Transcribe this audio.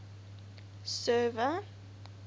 server